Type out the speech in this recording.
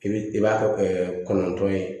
I bi i b'a kɛ kɔnɔntɔn ye